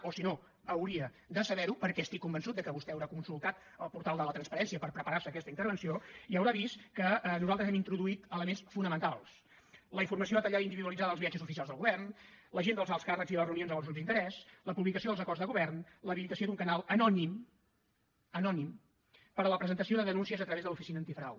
o si no hauria de saber ho perquè estic convençut que vostè haurà consultat el portal de la transparència per preparar se aquesta intervenció i haurà vist que nosaltres hem introduït elements fonamentals la informació detallada i individualitzada dels viatges oficials del govern l’agenda dels alts càrrecs i les reunions amb els grups d’interès la publicació dels acords de govern l’habilitació d’un canal anònim anònim per a la presentació de denúncies a través de l’oficina antifrau